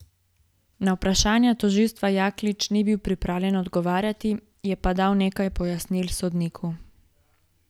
Na vprašanja tožilstva Jaklič ni bil pripravljen odgovarjati, je pa dal nekaj pojasnil sodniku.